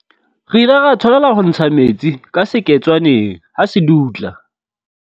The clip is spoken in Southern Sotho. re ile ra tshwanela ho ntsha metsi ka seketswaneng ha se dutla.